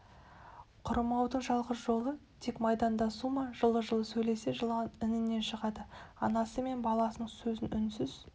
құрымаудың жалғыз жолы тек майдандасу ма жылы-жылы сөйлесе жылан інінен шығады анасы мен баласының сөзін үнсіз